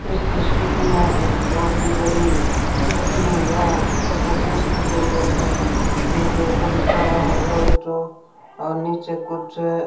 इस तस्वीर में एक बहुत ही बड़ी कंपनी या एजेंसी दिखाई दे रही हैं जिनके ऊपर लिखा हुआ है टोयोटो और नीचे कुछ --